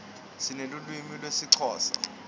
sinelulwimi lesixhosa